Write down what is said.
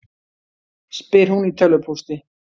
spyr hún í tölvupósti.